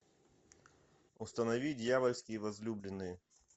установи дьявольские возлюбленные